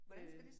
Øh